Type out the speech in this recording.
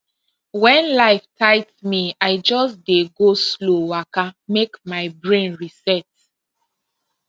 when life tight me i just dey go slow waka make my brain reset